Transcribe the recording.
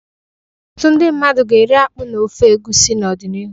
Ọtụtụ ndị mmadụ ga-eri akpu na ofe egusi n'ọdịnihu